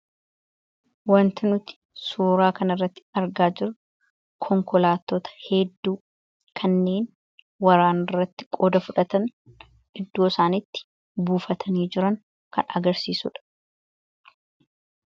Waanti nuti suuraa kana irratti argaa jirru Konkolaattota hedduu kanneen waraana irratti qooda fudhatan iddoo isaan itti buufatanii jiran kan agarsiisudha.